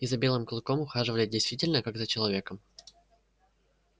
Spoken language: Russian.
и за белым клыком ухаживали действительно как за человеком